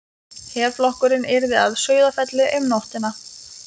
Herflokkurinn yrði að Sauðafelli um nóttina.